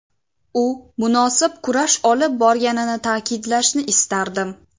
U munosib kurash olib borganini ta’kidlashni istardim.